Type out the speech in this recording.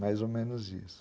Mais ou menos isso.